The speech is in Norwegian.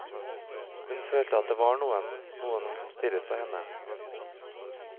Hun følte at det var noen, noe som stirret på henne.